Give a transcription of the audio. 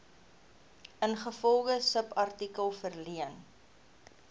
ingevolge subartikel verleen